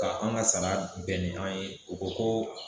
Ka an ga sara bɛn ni an ye u ko ko